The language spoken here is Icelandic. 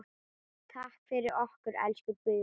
Takk fyrir okkur, elsku Guðrún.